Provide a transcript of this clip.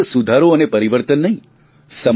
જેમાં ફકત સુધારો અને પરિવર્તન નહીં